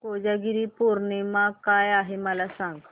कोजागिरी पौर्णिमा काय आहे मला सांग